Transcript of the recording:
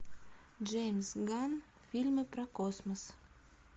джеймс ганн фильмы про космос